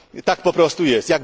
Tak po prostu jest.